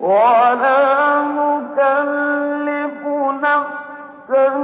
وَلَا نُكَلِّفُ نَفْسًا